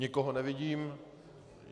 Nikoho nevidím.